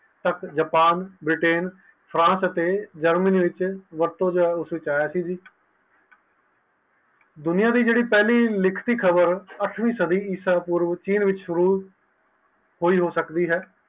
Japan Britain France ਅਤੇ Germany ਵਿਚ ਵਰਤੋਂ ਜਾਂਦਾ ਕੀਤੀ ਦੁਨੀਆਂ ਦੀ ਪਹਿਲੀ ਲਿਖਤੀ ਖ਼ਬਰ ਅੱਠਵੀ ਸਦੀ ਚੀਨ ਹੋਇ